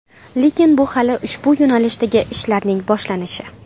Lekin bu hali ushbu yo‘nalishdagi ishlarning boshlanishi.